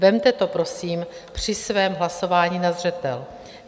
Vezměte to prosím při svém hlasování na zřetel.